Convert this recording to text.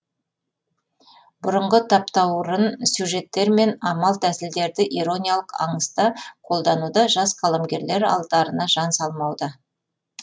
бұрынғы таптауырын сюжеттер мен амал тәсілдерді ирониялық аңыста қолдануда жас қаламгерлер алдарына жан салмауда